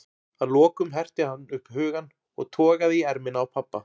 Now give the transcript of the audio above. Að lokum herti hann upp hugann og togaði í ermina á pabba.